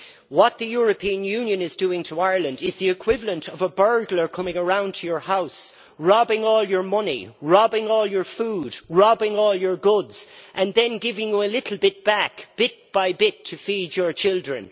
What the European Union is doing to Ireland is the equivalent of a burglar coming around to your house, stealing all your money, stealing all your food, stealing all your goods and then giving you a little bit back, bit by bit, to feed your children.